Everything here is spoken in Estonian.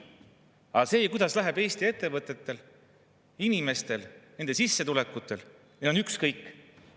Aga sellest, kuidas läheb Eesti ettevõtetel, inimestel, nende sissetulekutel, on neil ükskõik.